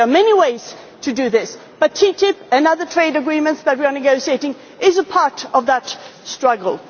We need investments. There are many ways to do this, but TTIP and the other trade agreements that we are negotiating are a part